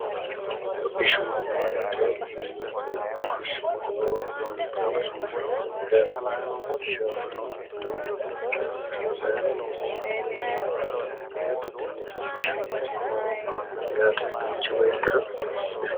hodhishu wante mimute hodhishu loo wante mnyaate isaforonsi minikkero y oroyaatehohish loohoro manna yaate munchu beettirae